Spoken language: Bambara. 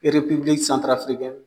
erepibiliki santarafirikɛni